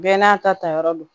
Bɛɛ n'a ta ta yɔrɔ do